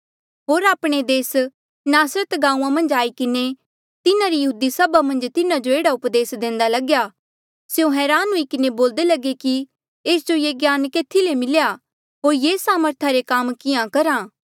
होर आपणे देस नासरत गांऊँआं मन्झ आई किन्हें तिन्हारी यहूदी सभा मन्झ तिन्हा जो एह्ड़ा उपदेस देंदा लग्या स्यों हरान हुई किन्हें बोल्दे लगे कि एस जो ये ज्ञान केथी ले मिल्या होर ये सामर्था रे काम किहां करहा